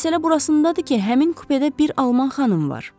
Məsələ burasındadır ki, həmin kupedə bir alman xanım var.